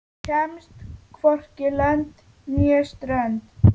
Kemst hvorki lönd né strönd.